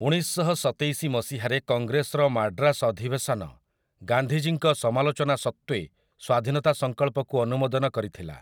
ଉଣେଇଶଶହସତେଇଶି ମସିହାରେ କଂଗ୍ରେସ୍ର ମାଡ୍ରାସ୍ ଅଧିବେଶନ ଗାନ୍ଧୀଜୀଙ୍କ ସମାଲୋଚନା ସତ୍ତ୍ୱେ ସ୍ୱାଧୀନତା ସଂକଳ୍ପକୁ ଅନୁମୋଦନ କରିଥିଲା ।